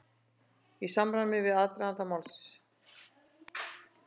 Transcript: Í samræmi við aðdraganda málsins